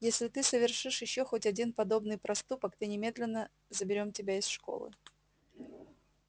если ты совершишь ещё хоть один подобный проступок ты немедленно заберём тебя из школы